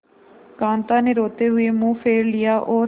कांता ने रोते हुए मुंह फेर लिया और